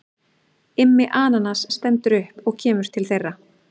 Immi ananas stendur upp og kemur til þeirra.